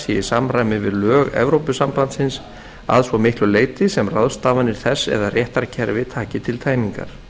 í samræmi við lög evrópusambandsins að svo miklu leyti sem ráðstafanir þess eða réttarkerfi taki til tæmingar